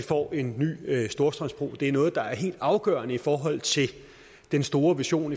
får en ny storstrømsbro det er noget der er helt afgørende i forhold til den store vision